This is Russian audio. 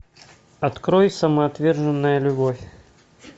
открой самоотверженная любовь